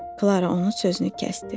Klara onu sözünü kəsdi.